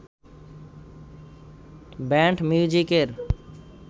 band মিউজিকের